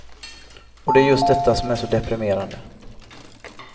Och det är just detta som är så deprimerande.